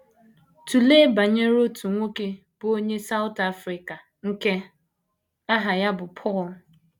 Tụlee banyere otu nwoke bụ́ onye South Africa nke aha ya bụ Paul.